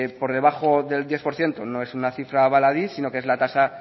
por debajo del diez por ciento no es una cifra baladí sino que es la tasa